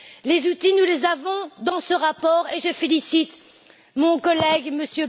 Les outils, nous les avons dans ce rapport, et je félicite mon collègue, M.